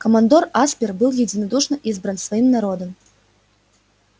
командор аспер был единодушно избран своим народом